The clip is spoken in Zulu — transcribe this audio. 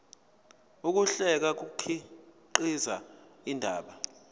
ukuhlela kukhiqiza indaba